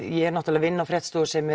ég náttúrulega vinn á fréttastofu sem